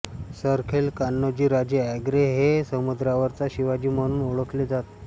सरखेल कान्होजी राजे आंग्रे हे समुद्रावरचा शिवाजी म्हणून ओळखले जात